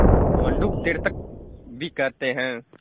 मंडूक तीर्थक भी कहते हैं